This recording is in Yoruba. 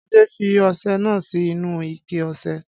Ade fi ọsẹ náà sì inú ìké ọsẹ